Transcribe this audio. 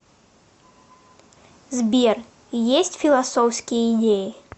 сбер есть философские идеи